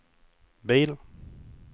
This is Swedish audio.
bil